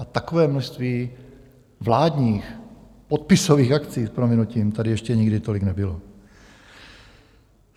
A takové množství vládních podpisových akcí s prominutím tady ještě nikdy tolik nebylo.